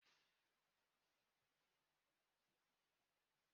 Mba, I gwaghi m ka m sie nri.